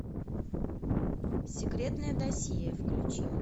секретное досье включи